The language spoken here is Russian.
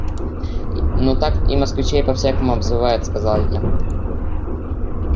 ну так и москвичей по-всякому обзывают сказал я